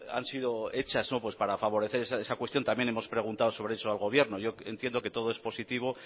han sido hechas para favorecer esa cuestión también hemos preguntado sobre eso al gobierno yo entiendo que todo es positivo